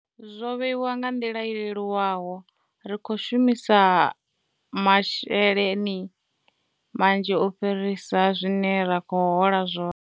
Zwo vheiwa nga nḓila i leluwaho, ri khou shumisa masheleni manzhi u fhirisa zwine ra khou hola zwone.